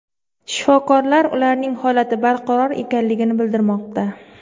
Shifokorlar ularning holati barqaror ekanligini bildirmoqda.